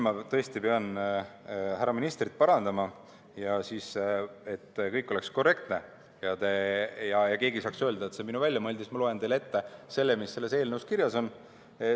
Ma pean tõesti härra ministrit parandama ja et kõik oleks korrektne ja keegi ei saaks öelda, et see on minu väljamõeldis, loen ma teile ette selle, mis selles eelnõus kirjas on.